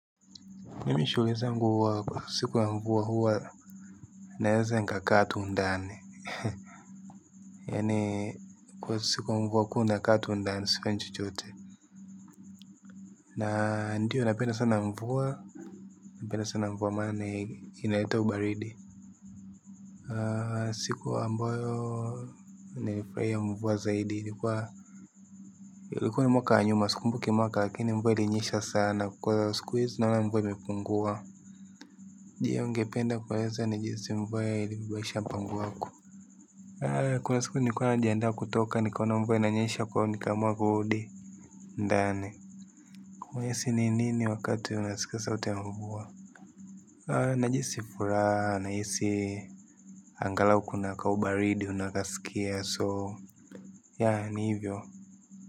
Mimi shulezangu huwa siku la mvua huwa naeza nikakaa tu ndani. Yaani kwa siku ya mvua kuwa unaka tu ndani sifanyi chochote na ndiyo napenda sana mvua. Napenda sana mvua maan inaleta ubaridi siku ambayo nimefurahia mvua zaidi ilikua ni mwaka wa nyuma sikumbuki mwaka lakini mvua ilinyesha sana kwa sikuhizi naona mvua imepungua, je ungependa kueleza ni jinsi mvua ilivo badilisha mpango wako. Kuna siku nilikua najiandaa kutoka nikaona mvua inanyesha kwahio nikaamua kurudi. Ndani. Mwesi ni nini wakati unasika sauti ya mvua. Najihisi furaha nahisi. Angalau kuna kaubaridi unakasikia so ya ni hivyo.